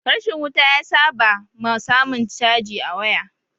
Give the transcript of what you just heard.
rashin wuta ya sa ba ma samun caji a waya